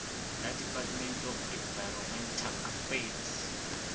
la department of environmental affairs